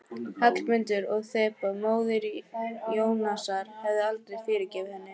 Hallmundur og Þeba, móðir Jónasar, hefðu aldrei fyrirgefið henni.